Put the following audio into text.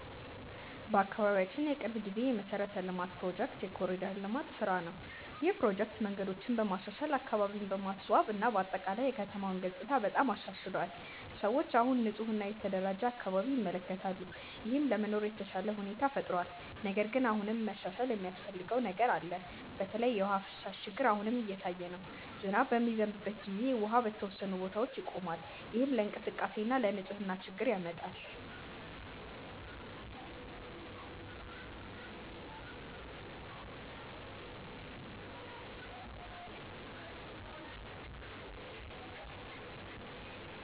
በአካባቢያችን የቅርብ ጊዜ የመሠረተ ልማት ፕሮጀክት የ“ኮሪደር ልማት” ስራ ነው። ይህ ፕሮጀክት መንገዶችን በማሻሻል፣ አካባቢን በማስዋብ እና በአጠቃላይ የከተማውን ገጽታ በጣም አሻሽሏል። ሰዎች አሁን ንፁህ እና የተደራጀ አካባቢ ይመለከታሉ፣ ይህም ለመኖር የተሻለ ሁኔታ ፈጥሯል። ነገር ግን አሁንም መሻሻል የሚያስፈልገው ነገር አለ። በተለይ የውሃ ፍሳሽ ችግር አሁንም እየታየ ነው። ዝናብ በሚዘንብበት ጊዜ ውሃ በተወሰኑ ቦታዎች ይቆማል፣ ይህም ለእንቅስቃሴ እና ለንፅህና ችግር ያመጣል።